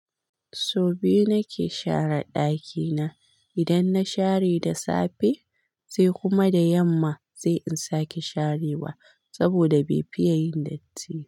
Sau biyu nake share ɗakina. Idan na share da safe sai kuma da yamma, sai in sake sharewa saboda bai fiye yin datti.